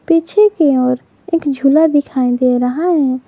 पीछे की ओर एक झूला दिखाई दे रहा है।